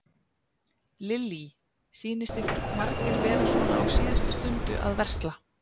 Lillý: Sýnist ykkur margir vera svona á síðustu stundu að versla?